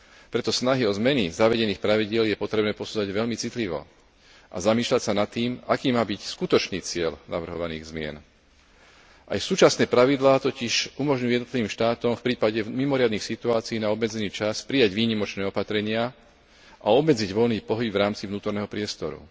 Preto snahy o zmeny zavedených pravidiel je potrebné posudzovať veľmi citlivo a zamýšľať sa nad tým, aký má byť skutočný cieľ navrhovaných zmien. Aj súčasné pravidlá totiž umožňujú jednotlivým štátom v prípade mimoriadnych situácií na obmedzený čas prijať výnimočné opatrenia a obmedziť voľný pohyb v rámci vnútorného priestoru.